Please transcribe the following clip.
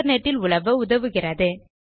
internet இல் உலவ உதவுகிறது